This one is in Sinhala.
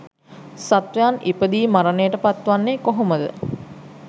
සත්වයන් ඉපදී මරණයට පත්වෙන්නේ කොහොමද?